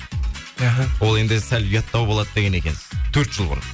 іхі ол енді сәл ұяттау болады деген екенсіз төрт жыл бұрын